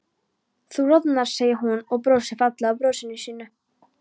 Þú roðnar, segir hún og brosir fallega brosinu sínu.